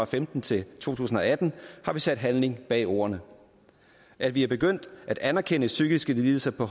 femten til to tusind og atten har vi sat handling bag ordene at vi er begyndt at anerkende psykiske lidelser på